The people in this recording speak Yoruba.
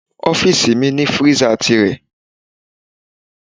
Ọ́fíìsì mi ní freezer tìrẹ.